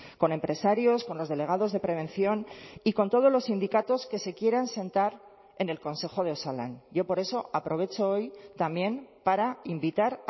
con empresarios con los delegados de prevención y con todos los sindicatos que se quieran sentar en el consejo de osalan yo por eso aprovecho hoy también para invitar